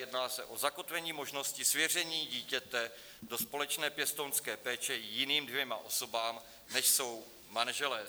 Jedná se o zakotvení možností svěření dítěte do společné pěstounské péče jiným dvěma osobám, než jsou manželé.